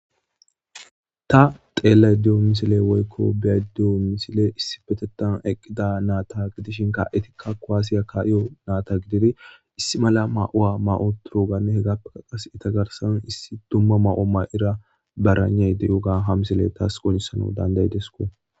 Ta xeellay diyo misile woykko biyadiyo misile issi betettan eqqida naata gidishinka etikka koaasiya kaiyo naata gidiri issi mala ma7uwa ma7o turoganne hegappea qas etagarsan issi dumma ma7o may7ira baranay deyoga ha misile taas qonisana dandaydesko.